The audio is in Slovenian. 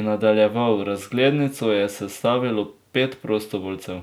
in nadaljeval: 'Razglednico je sestavilo pet prostovoljcev.